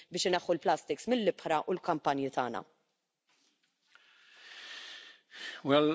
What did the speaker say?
Well, where are the times when we all wanted to wear a nylon shirt?